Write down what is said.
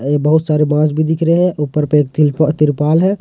ये बहुत सारे बॉस भी दिख रहे हैं ऊपर पे एक तिर तिर्पा तिरपाल है।